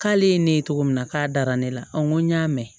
K'ale ye ne ye cogo min na k'a dara ne la n ko n y'a mɛn